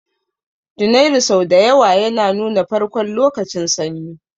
Janairu sau da yawa yana nuna farkon lokacin Sanyi